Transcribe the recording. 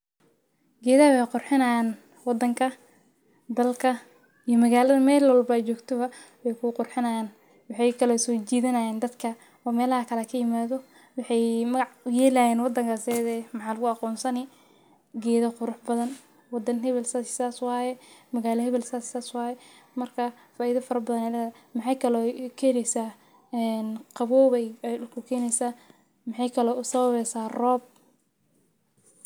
Gedhaha wee qurxinayan wadanka dalka iyo magaladhawa meel walbo oo aad jogto wee ku qurxinayan waxee kalo sojidhanayan dadka oo melaha kale kaimadho waxee maga uyelayin wadankas iyadha eh waxaa lagu aqonsani geeda qurux badan wadan hewel sas waye magala hewel sas iyo sas waye markas faidha fara badan ayey ledhahay magalada maxaa kalo kaheleysa qawow ayey ku keneysa maxee kalo usawabeysa rob.